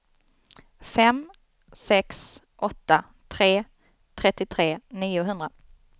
fem sex åtta tre trettiotre niohundra